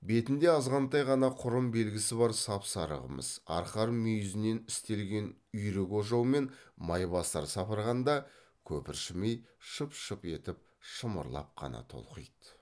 бетінде азғантай ғана құрым белгісі бар сап сары қымыз арқар мүйізінен істелген үйрек ожаумен майбасар сапырғанда көпіршімей шып шып етіп шымырлап қана толқиды